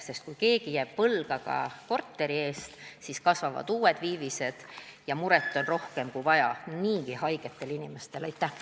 Sest kui keegi jääb võlgu ka korteri eest, siis kasvavad uued viivised ja muret on niigi haigetel inimestel rohkem, kui vaja.